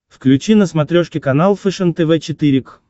включи на смотрешке канал фэшен тв четыре к